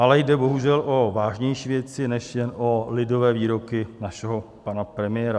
Ale jde bohužel o vážnější věci než jen o lidové výroky našeho pana premiéra.